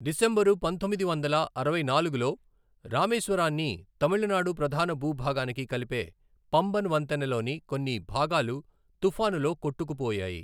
December పంతొమ్మిది వందల అరవై నాలుగులో, రామేశ్వరాన్ని తమిళనాడు ప్రధాన భూభాగానికి కలిపే పంబన్ వంతెనలోని కొన్ని భాగాలు తుఫానులో కొట్టుకుపోయాయి.